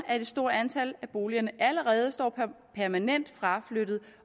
at et stort antal af disse boliger allerede er permanent fraflyttet